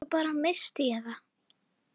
Svo bara. missti ég það.